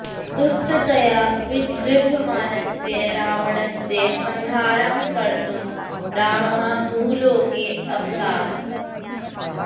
दुष्टतया विजृम्भमाणस्य रावणस्य संहारं कर्तुं रामः भूलोके अवततार